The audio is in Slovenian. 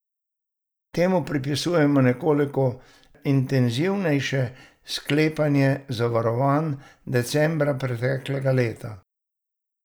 Temu pripisujemo nekoliko intenzivnejše sklepanje zavarovanj decembra preteklega leta.